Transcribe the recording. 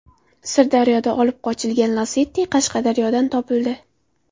Sirdaryoda olib qochilgan Lacetti Qashqadaryodan topildi.